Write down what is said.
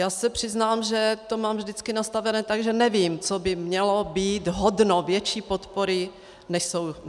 Já se přiznám, že to mám vždycky nastavené tak, že nevím, co by mělo být hodno větší podpory, než jsou děti.